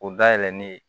O dayɛlɛlen